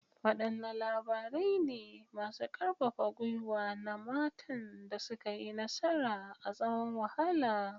Wadanne labarai ne masu karfafa gwiwa na matan da suka yi nasara a tsawon wahala?